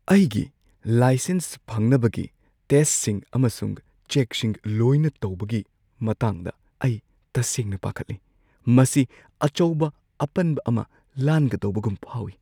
ꯑꯩꯒꯤ ꯂꯥꯏꯁꯦꯟꯁ ꯐꯪꯅꯕꯒꯤ ꯇꯦꯁꯠꯁꯤꯡ ꯑꯃꯁꯨꯡ ꯆꯦꯛꯁꯤꯡ ꯂꯣꯏꯅ ꯇꯧꯕꯒꯤ ꯃꯇꯥꯡꯗ ꯑꯩ ꯇꯁꯦꯡꯅ ꯄꯥꯈꯠꯂꯤ꯫ ꯃꯁꯤ ꯑꯆꯧꯕ ꯑꯄꯟꯕ ꯑꯃ ꯂꯥꯟꯒꯗꯧꯕꯒꯨꯝ ꯐꯥꯎꯏ ꯫